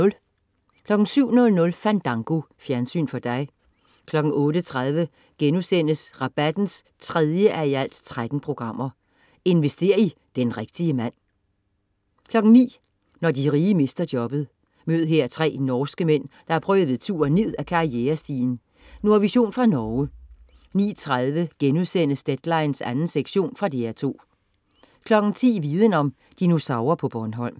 07.00 Fandango. Fjernsyn for dig 08.30 Rabatten. 3:13* Invester i "den rigtige mand" 09.00 Når de rige mister jobbet. Mød her tre norske mænd, der har prøvet turen ned ad karrierestigen. Nordvision fra Norge 09.30 Deadline 2. sektion.* Fra DR2 10.00 Viden om: Dinosaurer på Bornholm